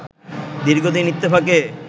দীর্ঘদিন ইত্তেফাকে